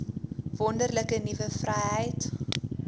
wonderlike nuwe vryheid